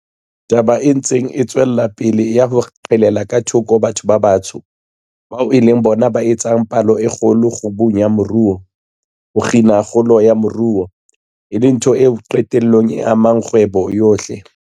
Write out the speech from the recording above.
Taba e ntseng e tswela pele ya ho qhelela ka thoko batho ba batsho, bao e leng bona ba etsang palo e kgolo, kgubung ya moruo, ho kgina kgolo ya moruo, e le ntho eo qetellong e amang kgwebo yohle.